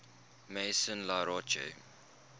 maison la roche